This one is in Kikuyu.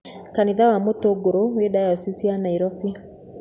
Kanitha wa Mutunguru wĩ diocese ya Nairobi.